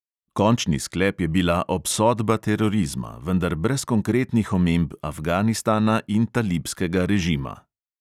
Končni sklep je bila obsodba terorizma, vendar brez konkretnih omemb afganistana in talibskega režima.